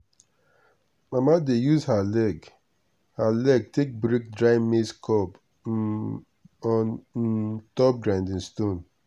mama dey use her her leg take break dry maize cob um on um top grinding stone.